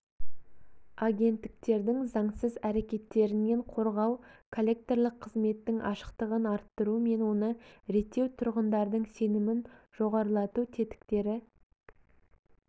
агенттіктердің заңсыз әрекеттерінен қорғау коллекторлық қызметтің ашықтығын арттыру мен оны реттеу тұрғындардың сенімін жоғарылату тетіктері